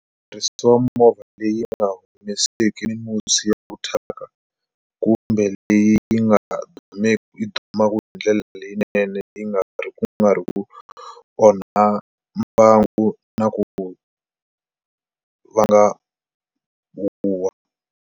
movha leyi nga humeseki musi ya ku thyaka kumbe leyi yi nga yi dumaku hindlela leyinene yi nga ri ku nga ri ku onha mbangu na ku vanga huwa.